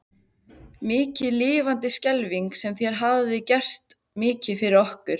Mikið lifandis skelfing sem þér hafið gert mikið fyrir okkur.